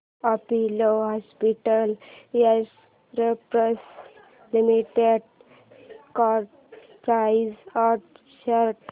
Apollo hospitals enterprise limited stock price and chart